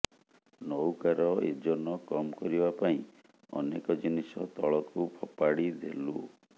ନଉକା ର ଏଜନ କମ କରିବା ପାଇଁ ଅନେକ ଜିନିଷ ତଳ କୁ ଫପାଡି ଦେଲୁ